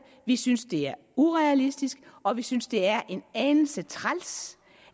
vi synes det er urealistisk og vi synes det er en anelse træls